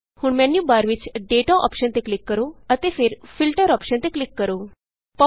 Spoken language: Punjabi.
ਹੁਣ ਮੈਨਯੂਬਾਰ ਵਿਚ Dataਅੋਪਸ਼ਨ ਤੇ ਕਲਿਕ ਕਰੋ ਅਤੇ ਫਿਰ Filterਅੋਪਸ਼ਨ ਤੇ ਕਲਿਕ ਕਰੋ